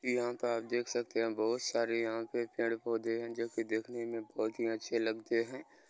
यहाँ का आप देख सकते है बहुत सारे यहाँ पे पेड़-पौधे हैं जो की देखने में बहुत ही अच्छे लगते हैं।